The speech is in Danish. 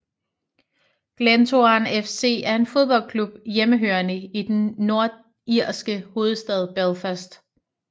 Glentoran FC er en fodboldklub hjemmehørende i den nordirske hovedstad Belfast